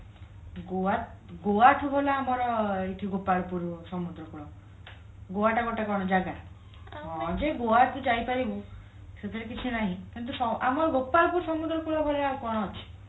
ଗୋଆ ଗୋଆଠୁ ଭଲ ଆମର ଗୋପାଳପୁର ସମୁଦ୍ର ଗୋଆଟା ଗୋଟେ କଣ ଜାଗା ହଁ ଯେ ଗୋଆ ତୁ ଯାଉପାରିବୁ ସେଥିରେ କିଛି ନାହିଁ କିନ୍ତୁ ଆମ ଗୋପାଳପୁର ସମୁଦ୍ରକୁଳ ଭଳିଆ ଆଉ କଣ ଅଛି